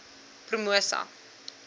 promosa